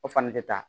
O fana tɛ taa